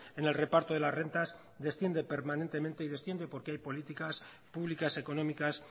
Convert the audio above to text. en el reparto de las rentas desciende permanentemente y desciendo porque hay políticas públicas económicas